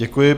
Děkuji.